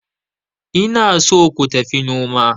ina so ku tafi noma